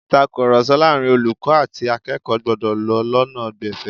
Ìtàkurọ̀sọ láàárín olùkọ́ àti akẹ́kọ̀ọ́ gbọ́dọ̀ lọ lọ́nà gbẹ̀fẹ̀